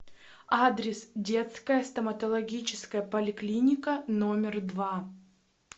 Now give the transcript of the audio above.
адрес детская стоматологическая поликлиника номер два